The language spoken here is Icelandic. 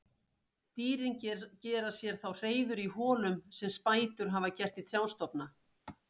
Dýrin gera sér þá hreiður í holum sem spætur hafa gert í trjástofna.